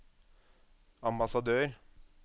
ambassadør